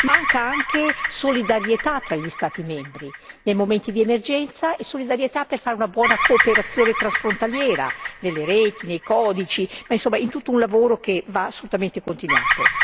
Manca anche solidarietà fra gli Stati membri nei momenti di emergenza e nell'attuazione di una buona cooperazione transfrontaliera, nelle reti, nei codici, in breve in tutto un lavoro che va assolutamente continuato.